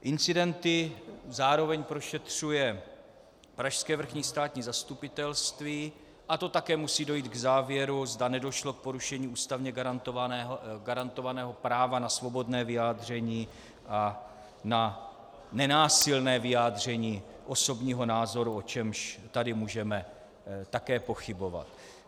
Incidenty zároveň prošetřuje pražské vrchní státní zastupitelství a to také musí dojít k závěru, zda nedošlo k porušení ústavně garantovaného práva na svobodné vyjádření a na nenásilné vyjádření osobního názoru, o čemž tady můžeme také pochybovat.